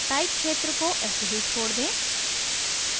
type क्षेत्र को ऐसे ही छोड़ दें